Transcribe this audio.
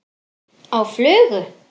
Á flugu?